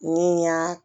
Ni n y'a